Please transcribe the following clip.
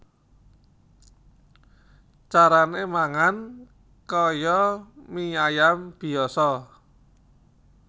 Carané mangan kaya mie ayam biyasa